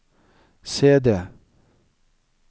CD